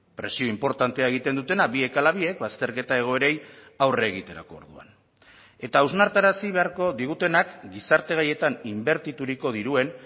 presio inportantea egiten dutena biek ala biek bazterketa egoerei aurre egiterako orduan eta hausnarrarazi beharko digutenak gizarte gaietan inbertituriko diruen